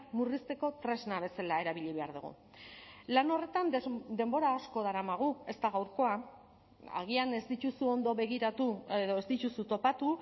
murrizteko tresna bezala erabili behar dugu lan horretan denbora asko daramagu ez da gaurkoa agian ez dituzu ondo begiratu edo ez dituzu topatu